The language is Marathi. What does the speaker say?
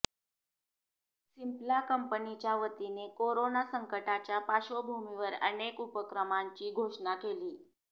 सिप्ला कंपनीच्या वतीने कोरोना संकटाच्या पार्श्वभूमिवर अनेक उपक्रमांची घोषणा केली